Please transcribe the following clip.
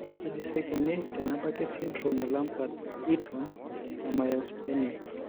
Kaji sa eikoni tenebaki esindirom eLambert Eaton myasthenic?